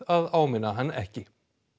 að áminna hann ekki